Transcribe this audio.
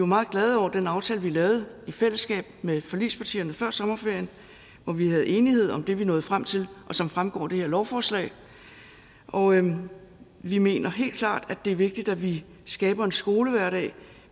meget glade over den aftale vi lavede i fællesskab med forligspartierne før sommerferien hvor vi havde enighed om det vi nåede frem til og som fremgår af det her lovforslag og vi mener helt klart at det er vigtigt at vi skaber en skolehverdag